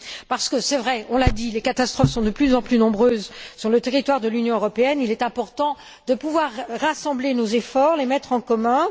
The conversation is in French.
Parce que on l'a dit les catastrophes sont, c'est vrai, de plus en plus nombreuses sur le territoire de l'Union européenne, il est important de pouvoir rassembler nos efforts, les mettre en commun.